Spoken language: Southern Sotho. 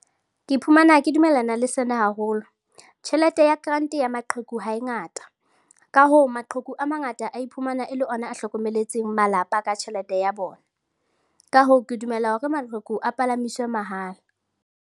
Ke iphumana ke dumellana le sena haholo. Tjhelete ya grant ya maqheku ha e ngata. Ka hoo, maqheku a mangata a iphumana e le ona a hlokometseng malapa ka tjhelete ya bona. Ka hoo, ke dumela hore maqheku a palamiswe mahala.